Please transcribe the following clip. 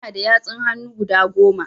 Ina da yatsun hannu guda Goma